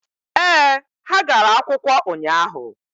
ee, ha gara akwụkwọ ụnyaahụ.